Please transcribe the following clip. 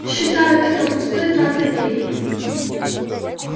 считаю это пустой тратой времени